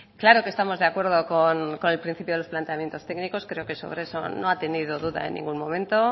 claro que estamos de acuerdo con el principio de los planteamientos técnicos creo que sobre eso no ha tenido duda en ningún momento